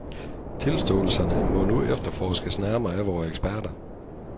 Tilståelserne må nu efterforskes nærmere af vore eksperter.